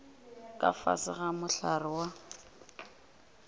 ka fase ga mohlare wa